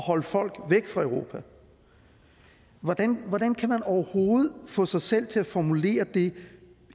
holde folk væk fra europa hvordan hvordan kan man overhovedet få sig selv til at formulere det